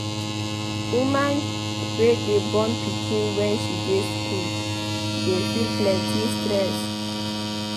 Woman wey dey born pikin wen she dey skool dey feel plenty stress.